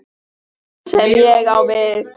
Það er það sem ég á við.